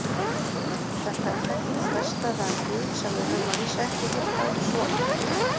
Þetta er þekkt þverstæða um Guð sem við höfum að vísu ekki heyrt áður svona.